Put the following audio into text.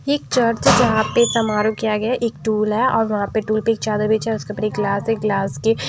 ये एक चर्च है जहाँ पे समारोह किया गया हैएक टूल है और वहाँ पे टूल पे एक चादर बिछा है उसके ऊपर एक ग्लास है गिलास के --